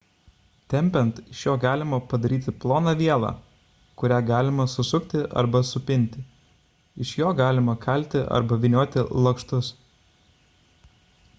tempiant iš jo galima padaryti ploną vielą kurią galima susukti arba supinti iš jo galima kalti arba vynioti lakštus